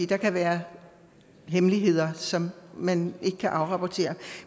der kan være hemmeligheder som man ikke kan afrapportere